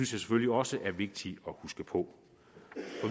selvfølgelig også er vigtigt at huske på